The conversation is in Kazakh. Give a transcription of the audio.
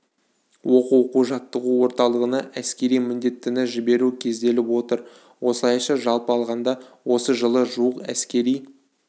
оқу оқу-жаттығу орталығына әскери міндеттіні жіберу көзделіп отыр осылайша жалпы алғанда осы жылы жуық әскери